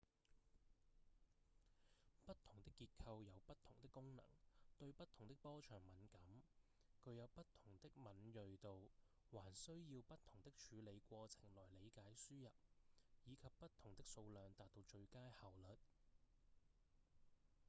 不同的結構有不同的功能、對不同的波長敏感、具有不同的敏銳度還需要不同的處理過程來理解輸入以及不同的數量達到最佳效率